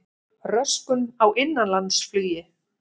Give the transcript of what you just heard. Röskun á innanlandsflugi